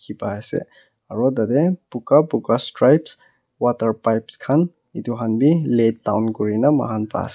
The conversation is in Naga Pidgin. paase aro tatae buka buka strip water pipes khan edu han bi lay down kurina mohan paase.